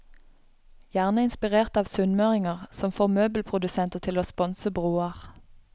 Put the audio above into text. Gjerne inspirert av sunnmøringer, som får møbelprodusenter til å sponse broer.